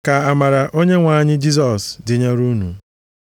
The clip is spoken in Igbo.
Ka amara Onyenwe anyị Jisọs dịnyere unu.